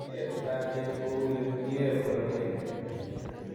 Myee utaatyet ko uu ye myee poroteet.